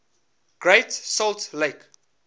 great salt lake